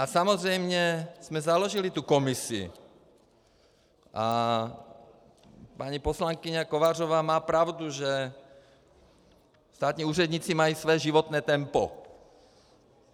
A samozřejmě jsme založili tu komisi a paní poslankyně Kovářová má pravdu, že státní úředníci mají své životní tempo.